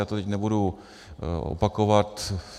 Já to teď nebudu opakovat.